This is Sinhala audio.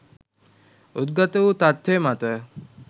උද්ගත වු තත්ත්වය මත